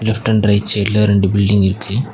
Left and right சைடுல ஒரு ரெண்டு பில்டிங் இருக்கு.